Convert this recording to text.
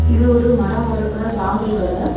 இது ஒரு மரம் அறுக்கிற சாமில் கட.